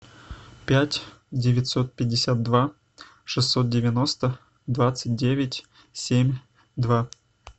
пять девятьсот пятьдесят два шестьсот девяносто двадцать девять семь два